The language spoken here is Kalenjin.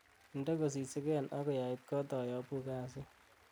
inde kosisigen agoi ait koot ayobu kasit